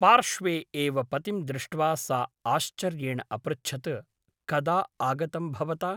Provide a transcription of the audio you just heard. पार्श्वे एव पतिं दृष्ट्वा सा आश्चर्येण अपृच्छत् कदा आगतं भवता ?